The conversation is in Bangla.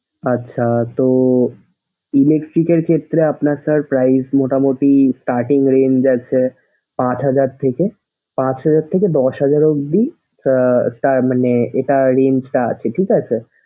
আচ্ছা তো electric এর ক্ষেত্রে আপানার sir price মোটামোটি cutting range আছে পাঁচ হাজার থেকে পাঁচ হাজার থেকে দশ হাজার অবধি আহ তার মানে এটার range টা আছে ঠিক আছে । sir